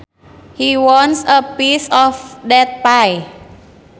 He wants a piece of that pie